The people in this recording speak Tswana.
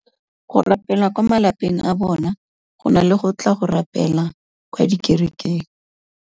Go rapela kwa malapeng a bona go na le go tla go rapela kwa dikerekeng.